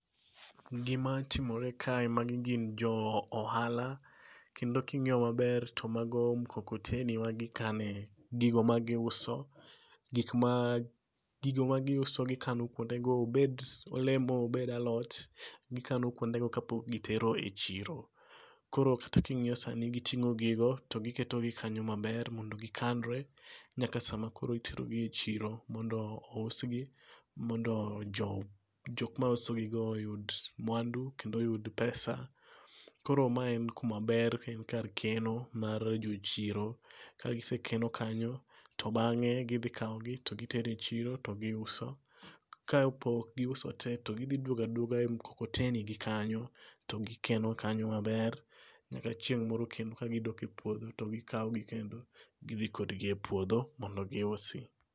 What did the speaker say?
Gimatimore kae magi gin jo ohala kendo king'iyo maber to mago mkokoteni magikane gigo magiuso, gigo magiuso gikano kwondego obed olemo ,obed alot, gikano kwondego kapok gitero e chiro. Koro kata king'iyo sani giting'o gigo to giketogi kanyo maber mondo gikanre nyaka sama iterogi e chiro mondo ousgi, mondo jok mausogigo oyud mwandu kendo oyud pesa. Koro ma en kuma ber en kar keno mar jochiro. Ka gisekeno kanyo, to bang'e, gidhi kawogi to gitero e chiro to giuso. Kapok giuso te, to gidhi dwogo adwoga e mkokotenigi kanyo to gikeno maber nyaka chieng' moro kendo ka gidok e puodho to gikawogi kendo gidhi kodgi e puodho mondo giusgi.